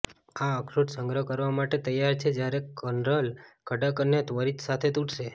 આ અખરોટ સંગ્રહ કરવા માટે તૈયાર છે જ્યારે કર્નલ કડક અને ત્વરિત સાથે તૂટશે